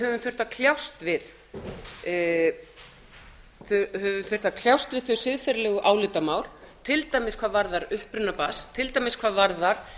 höfum þurft að kljást við þau siðferðilegu álitamál til dæmis hvað varðar uppruna barns til dæmis hvað varðar